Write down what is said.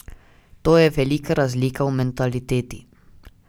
To je velika razlika v mentaliteti.